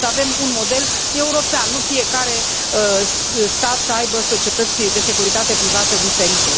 Trebuie să avem un model european, nu fiecare stat să aibă societăți de securitate privată diferite.